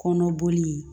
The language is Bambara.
Kɔnɔ boli